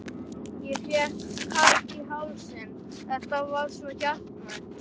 Ég fékk kökk í hálsinn, þetta var svo hjartnæmt.